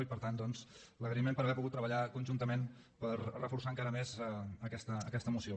i per tant doncs l’agraïment per haver pogut treballar conjuntament per reforçar encara més aquesta moció